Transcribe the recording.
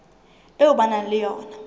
eo ba nang le yona